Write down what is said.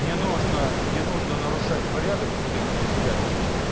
не нужно не нужно нарушать порядок в судебном заседании